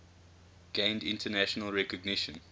gained international recognition